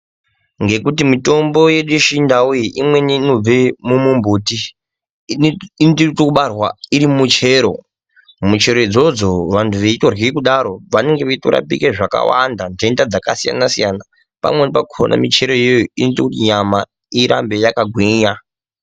Ngekuti mitombo yedu yechindau iyi imweni inobve mumumbuti inotoite ekubarwa iri muchero, muchero idzodzo vanthu veitorye kudaro vanenge veitorapike zvakawanda nhenda dzakasiyana-siyana. Pamweni pakhona micheroyo iyoyo inoita kuti nyama irambe yakagwinya